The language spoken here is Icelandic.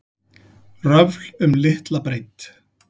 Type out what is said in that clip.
Röfl um litla breidd